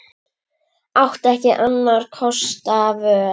Átti ekki annarra kosta völ.